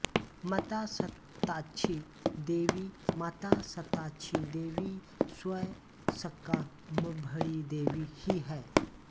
माता शताक्षी देवी माता शताक्षी देवी स्वयं शाकम्भरी देवी ही है